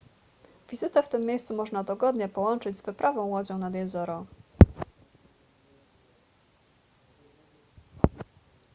wizytę w tym miejscu można dogodnie połączyć z wyprawą łodzią nad jezioro